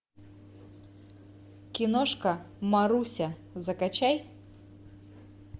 киношка маруся закачай